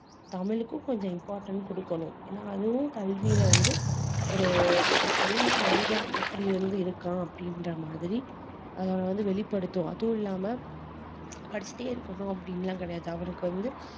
தமிழுக்கும் கொஞ்சம் important கொடுக்கணும் ஏன்னா அதுவும் கல்வியில வந்து ஒரு தனி மனிதன் எப்படி வந்து இருக்கான் அப்படின்ற மாதிரி அதை வந்து வெளிப்படுத்தும் அதுவும் இல்லாம படிச்சிட்டே இருக்கணும் அப்படின்னு எல்லாம் கிடையாது அவனுக்கு வந்து